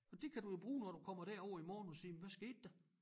Og det kan du jo bruge når du kommer derover i morgen og sige men hvad skete der